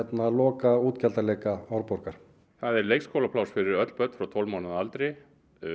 loka Árborgar það er leikskólapláss fyrir öll börn frá tólf mánaða aldri